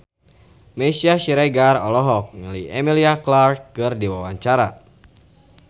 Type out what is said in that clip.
Meisya Siregar olohok ningali Emilia Clarke keur diwawancara